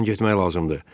Burdan getmək lazımdır.